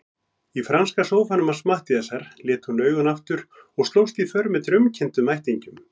Í franska sófanum hans Matthíasar lét hún augun aftur og slóst í för með draumkenndum ættingjum.